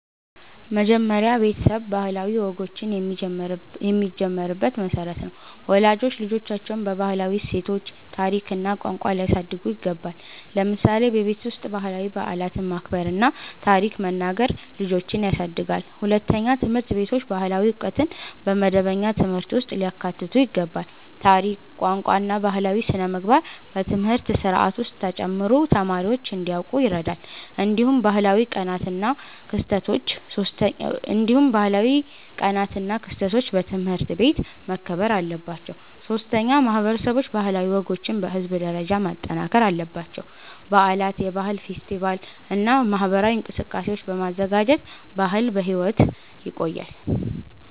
መጀመሪያ ቤተሰብ ባህላዊ ወጎችን የሚጀምርበት መሠረት ነው። ወላጆች ልጆቻቸውን በባህላዊ እሴቶች፣ ታሪክ እና ቋንቋ ሊያሳድጉ ይገባል። ለምሳሌ በቤት ውስጥ ባህላዊ በዓላትን ማክበር እና ታሪክ መናገር ልጆችን ያሳድጋል። ሁለተኛ፣ ትምህርት ቤቶች ባህላዊ ዕውቀትን በመደበኛ ትምህርት ውስጥ ሊያካትቱ ይገባል። ታሪክ፣ ቋንቋ እና ባህላዊ ሥነ-ምግባር በትምህርት ስርዓት ውስጥ ተጨምሮ ተማሪዎች እንዲያውቁ ይረዳል። እንዲሁም ባህላዊ ቀናት እና ክስተቶች በትምህርት ቤት መከበር አለባቸው። ሶስተኛ፣ ማህበረሰቦች ባህላዊ ወጎችን በህዝብ ደረጃ ማጠናከር አለባቸው። በዓላት፣ የባህል ፌስቲቫሎች እና ማህበራዊ እንቅስቃሴዎች በማዘጋጀት ባህል በሕይወት ይቆያል።